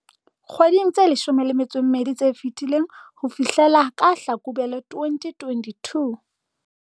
Dikgweding tse 12 tse fetileng ho fihlela ka Hlakubele 2022.